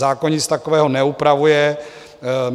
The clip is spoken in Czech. Zákon nic takového neupravuje.